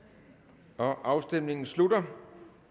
der afstemningen slutter